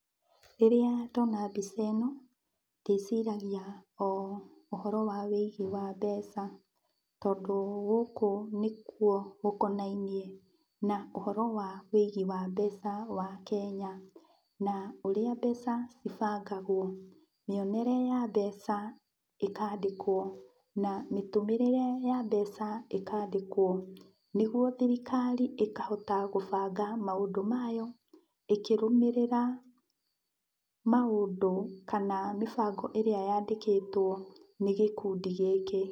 Rĩrĩa ndona mbica ĩno ndĩciragia o ũhoro wa wĩigi wa mbeca, tondũ gũkũ nĩkuo gũkonainie na ũhoro wa wĩigi wa mbeca wa Kenya na ũrĩa mbeca cibangagwo. Mĩonere ya mbeca ĩkandĩkwo, na mĩtũmĩrĩre ya mbeca ĩkandĩkwo, nĩguo thirikari ĩkahota gũbanga maũndũ mayo ĩkĩrũmĩrĩra maũndũ kana mĩbango ĩrĩa yandĩkĩtwo nĩ gĩkundi gĩkĩ.